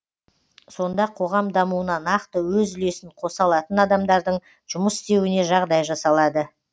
сонда қоғам дамуына нақты өз үлесін қоса алатын адамдардың жұмыс істеуіне жағдай жасалады